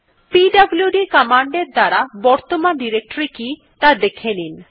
পিডব্লুড command এর দ্বারা বর্তমান ডিরেক্টরী কি ত়া দেখে নিন